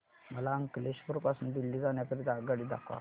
मला अंकलेश्वर पासून दिल्ली जाण्या करीता आगगाडी दाखवा